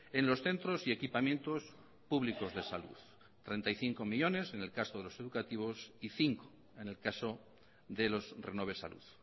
en los centros y equipamientos públicos de salud treinta y cinco millónes en el caso de los educativos y cinco en el caso de los renove salud